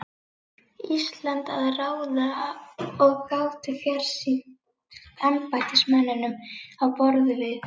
Íslandi að ráða og gátu fjarstýrt embættismönnum á borð við